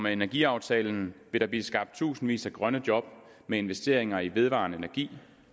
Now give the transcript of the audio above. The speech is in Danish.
energiaftalen vil der blive skabt tusindvis af grønne job med investeringer i vedvarende energi